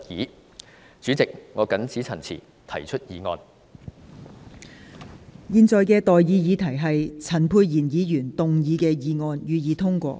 我現在向各位提出的待議議題是：陳沛然議員動議的議案，予以通過。